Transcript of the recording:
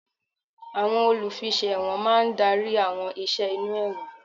Àwọn olùfiṣẹ̀wọ̀n máa ń darí àwọn ìṣe inú ẹ̀wọ̀n.